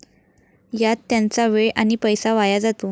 यात त्यांचा वेळ आणि पैसा वाया जातो.